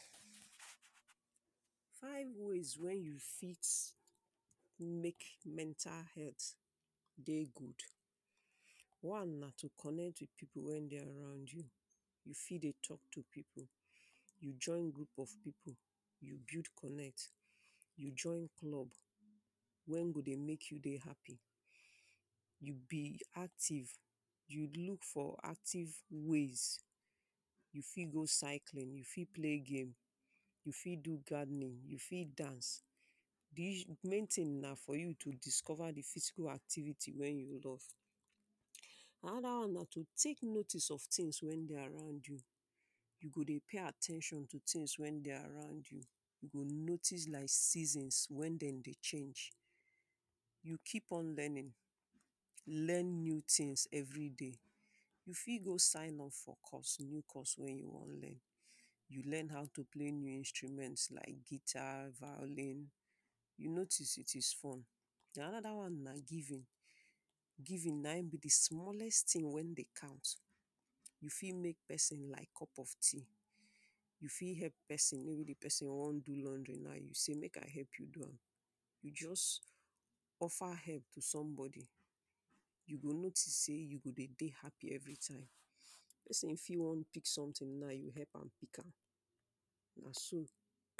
five ways wen you fit make mental health dey good, one na to connect with people wen dey around you, you fit dey talk with people you, join group of people, you build connect, you join club wen go dey make you dey happy, you be active, you look for active ways, you fit go cycling, you fit play game, you fit do gardening, you fit dance. di ish main thing na for you to discover di physical activity wen you love, another one na to take notice of things wey dey around you, you go dey pay at ten tion to things wen dey around you, you go notice like seasons wen dem dey change, you keep on learning, learn new things every day, you fit go sign up for course new course wen you wan learn. you learn how to play new instruments like guitar, violin, you notice it is fun den another one na giving; giving na Im be di smallest thing wen dey count, you fit make person like cup of tea, you fit help person maybe di person wan do laundry now you sey make I help you do am, you just offer help to somebody, you go notice sey you go dey dey happy every time. person fit wan pick something na you help am pick am, na so.